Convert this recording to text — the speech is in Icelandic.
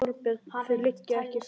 Þorbjörn: Og þau liggja ekki fyrir?